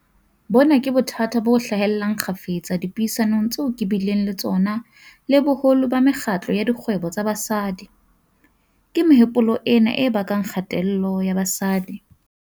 Bona ke bothata bo hlahellang kgafetsa dipuisanong tseo ke bileng le tsona le boholo ba mekgatlo ya dikgwebo tsa basadi. Ke mehopolo ena e bakang kgatello ya basadi.